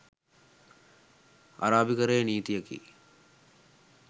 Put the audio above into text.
අරාබිකරයේ නීතියකි.